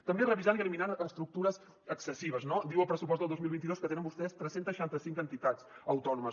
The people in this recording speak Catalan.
també revisant i eliminant estructures excessives no diu el pressupost del dos mil vint dos que tenen vostès tres cents i seixanta cinc entitats autònomes